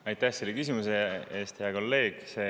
Aitäh selle küsimuse eest, hea kolleeg!